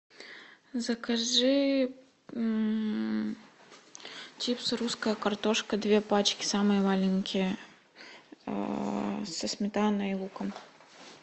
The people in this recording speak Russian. закажи чипсы русская картошка две пачки самые маленькие со сметаной и луком